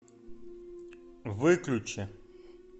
выключи